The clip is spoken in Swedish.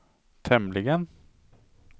tämligen